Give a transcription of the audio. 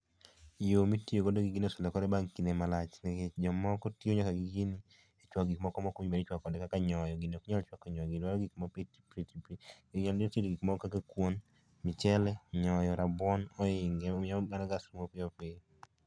yo mitiyo godo gi gini oselokore bang' kinde malach nikech jomoko tiyo nyaka gi gini e chuako gik moko ma ok onego bed ni ichuako kode kaka nyoyo ,gini ok nyal chuako nyoyo ,gini dwaro tedo gik moko kaka kuon, mchele .Nyoyo rabuon ohinge omiyo mano gas rumo piyopiyo